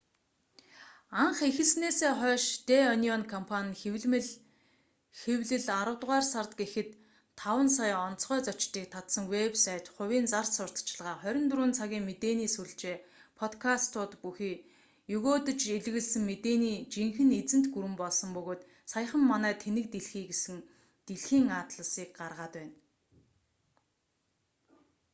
анх эхэлснээсээ хойш дэ онион компани нь хэвлэмэл хэвлэл аравдугаар сард гэхэд 5,000,000 онцгой зочдыг татсан вэб сайт хувийн зар сурталчилгаа 24 цагийн мэдээни сүлжээ подкастууд бүхий егөөдөж элэглэсэн мэдээний жинхэнэ эзэнт гүрэн болсон бөгөөд саяхан манай тэнэг дэлхий гэсэн дэлхийн атласыг гаргаад байна